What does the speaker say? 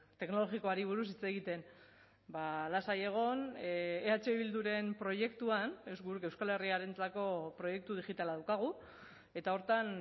teknologikoari buruz hitz egiten lasai egon eh bilduren proiektuan euskal herriarentzako proiektu digitala daukagu eta horretan